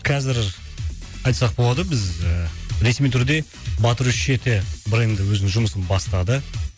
қазір айтсақ болады біз ресми түрде батыр үш жеті бренді өзінің жұмысын бастады